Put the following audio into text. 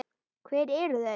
Hver eru þau?